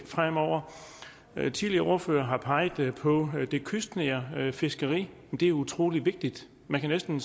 fremover tidligere ordførere har peget på at det kystnære fiskeri er utrolig vigtigt man kan næsten